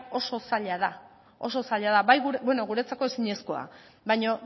oso zaila da guretzako ezinezkoa baina